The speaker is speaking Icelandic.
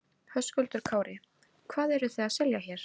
Höskuldur Kári: Hvað eru þið að selja hér?